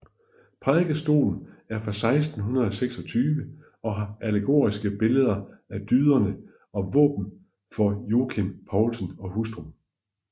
Prædikestolen er fra 1626 og har allegoriske billeder af dyderne og våben for Jockum Poulsen og hustru